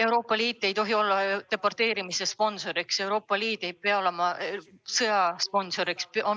Euroopa Liit ei tohi olla deporteerimise sponsor, Euroopa Liit ei tohi olla sõja sponsor.